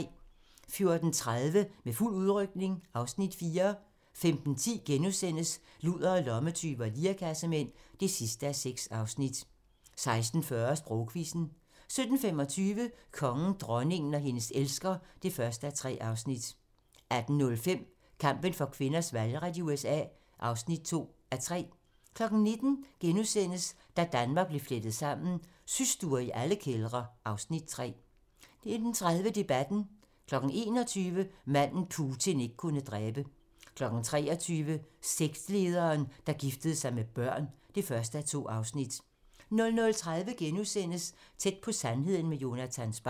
14:30: Med fuld udrykning (Afs. 4) 15:10: Ludere, lommetyve og lirekassemænd (6:6)* 16:40: Sprogquizzen 17:25: Kongen, dronningen og hendes elsker (1:3) 18:05: Kampen for kvinders valgret i USA (2:4) 19:00: Da Danmark blev flettet sammen: Systuer i alle kældre (Afs. 3)* 19:30: Debatten 21:00: Manden, Putin ikke kunne dræbe 23:00: Sektlederen, der giftede sig med børn (1:2) 00:30: Tæt på sandheden med Jonatan Spang *